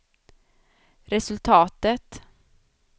resultatet